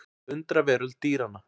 Undraveröld dýranna.